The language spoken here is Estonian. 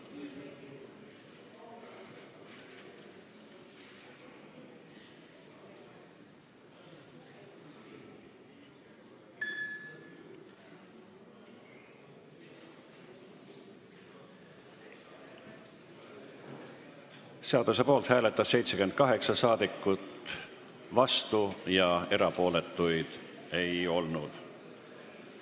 Hääletustulemused Seaduseelnõu poolt hääletas 78 saadikut, vastuolijaid ega erapooletuid ei olnud.